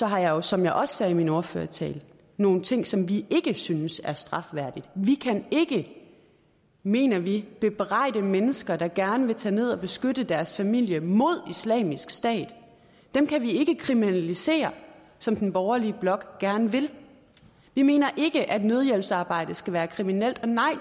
har jeg jo som jeg også sagde i min ordførertale nogle ting som vi ikke synes er strafværdige vi kan ikke mener vi bebrejde mennesker der gerne vil tage ned og beskytte deres familie mod islamisk stat dem kan vi ikke kriminalisere som den borgerlige blok gerne vil vi mener ikke at nødhjælpsarbejde skal være kriminelt nej